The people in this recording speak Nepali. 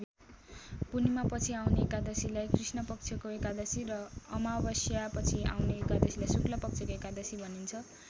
पूर्णिमापछि आउने एकादशीलाई कृष्णपक्षको एकादशी र अमावस्यापछि आउने एकादशीलाई शुक्लपक्षको एकादशी भनिन्छ।